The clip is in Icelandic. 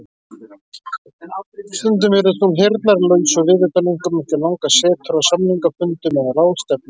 Stundum virðist hún heyrnarlaus og viðutan einkum eftir langar setur á samningafundum eða ráðstefnum.